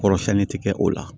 Kɔrɔ siɲɛni ti kɛ o la